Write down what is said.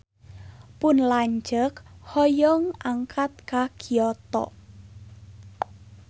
Pun lanceuk hoyong angkat ka Kyoto